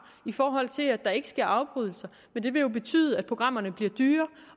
i forhold til at der ikke sker afbrydelser men det vil jo betyde at programmerne bliver dyrere